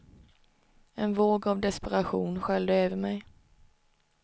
En våg av desperation sköljde över mig.